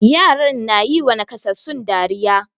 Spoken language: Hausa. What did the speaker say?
Yaran ya yiwa nakasassun dariya.